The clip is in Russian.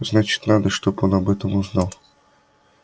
значит надо чтобы он об этом узнал